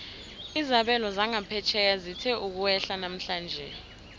izabelo zangaphetjheya zithe ukwehla namhlanje